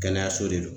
Kɛnɛyaso de do